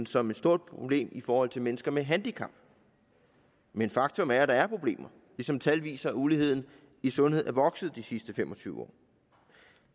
som et stort problem i forhold til mennesker med handicap men faktum er at der er problemer ligesom tal viser at uligheden i sundheden er vokset i de sidste fem og tyve år